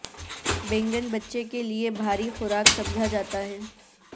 بینگن بچے کے لیے بھاری خوراک سمجھا جاتا ہے